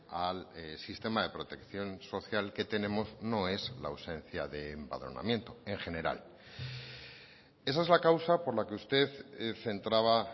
al sistema de protección social que tenemos no es la ausencia de empadronamiento en general esa es la causa por la que usted centraba